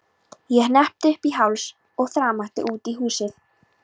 Ég hneppti upp í háls og þrammaði út í haustið.